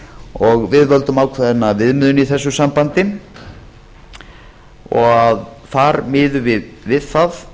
og við völdum ákveðna viðmiðun í þessu sambandi þar miðum við við það